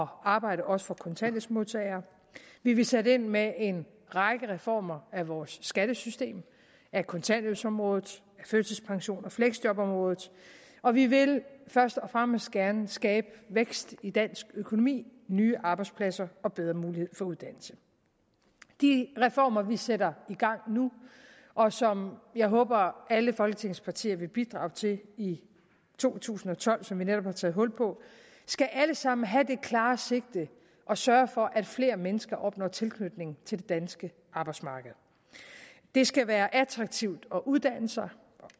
arbejde også for kontanthjælpsmodtagere vi vil sætte ind med en række reformer af vores skattesystem af kontanthjælpsområdet førtidspensions og fleksjobområdet og vi vil først og fremmest gerne skabe vækst i dansk økonomi nye arbejdspladser og bedre muligheder for uddannelse de reformer vi sætter i gang nu og som jeg håber at alle folketingets partier vil bidrage til i to tusind og tolv som vi netop har taget hul på skal alle sammen have det klare sigte at sørge for at flere mennesker opnår tilknytning til det danske arbejdsmarked det skal være attraktivt at uddanne sig